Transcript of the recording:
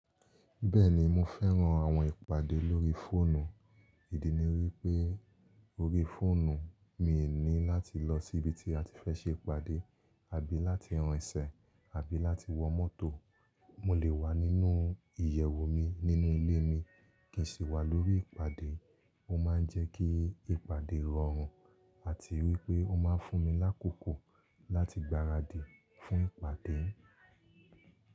Bẹ́ẹ̀ni mo fẹ́ran àwọn ìpàdé lórí fóònù, ìdí ni wípé orí fóònù, mi ò ní láti lọ síbi tí a ti fẹ́ ṣe ìpàdé àbí láti rinsẹ̀ àbí láti wọ mọ́tò. Mo lè wà nínú ìyẹ̀wù mi nínú ilé mi kí n sì wà lórí ìpàdé. Ó ma ń jẹ́ kí ìpàdé rọrùn àti wípé ó ma ń fún mi lákòókò láti gbaradì fún ìpàdé.